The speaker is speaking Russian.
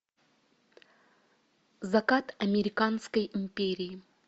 закат американской империи